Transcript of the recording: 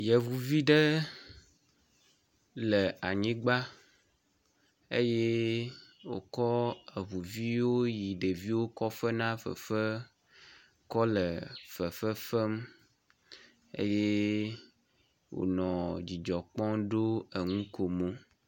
yevivuɖe le anyigba eye wòkɔ eʋuviwo yi ɖeviwo ko fena fefe kɔle fefefem eye wonɔ dzidzɔkpɔm heɖo ŋukomo